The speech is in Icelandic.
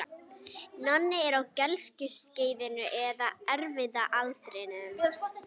Nonni er á gelgjuskeiðinu eða erfiða aldrinum.